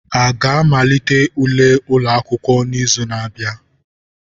A ga-amalite ule ụlọ akwụkwọ n'izu na-abịa?